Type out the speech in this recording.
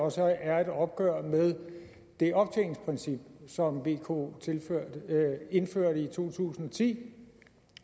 også er et opgør med det optjeningsprincip som vko indførte i to tusind og ti